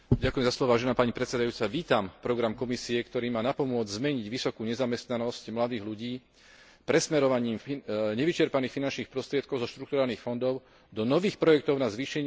Vítam program Komisie, ktorý má napomôcť zmeniť vysokú nezamestnanosť mladých ľudí presmerovaním nevyčerpaných finančných prostriedkov zo štrukturálnych fondov do nových projektov na zvýšenie ich zamestnanosti.